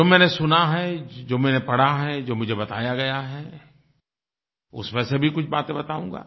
जो मैंने सुना है जो मैंने पढ़ा है जो मुझे बताया गया है उसमें से भी कुछ बातें बताऊंगा